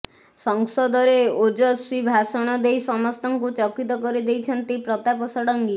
ସଂସଦରେ ଓଜସ୍ୱୀ ଭାଷଣ ଦେଇ ସମସ୍ତଙ୍କୁ ଚକିତ କରିଦେଇଛନ୍ତି ପ୍ରତାପ ଷଡଙ୍ଗୀ